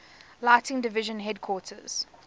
lighting division headquarters